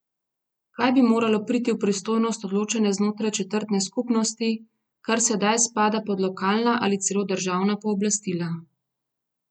Kaj bi moralo priti v pristojnost odločanja znotraj četrtne skupnosti, kar sedaj spada pod lokalna ali celo državna pooblastila?